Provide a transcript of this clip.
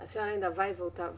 A senhora ainda vai voltar?